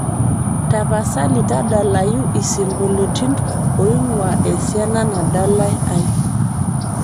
tapasali tadalayu isingolioitin oing'uaa esiana nadalae ai